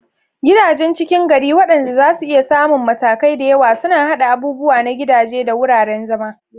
Gidajen ckin gari, waɗanda zasu iya samun matakai da yawa, suna haɗa abubuwa na gidaje da wuraren zama.